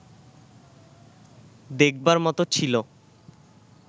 দেখবার মতো ছিল